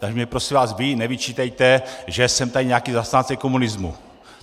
Tak mně prosím vás vy nevyčítejte, že jsem tady nějaký zastánce komunismu.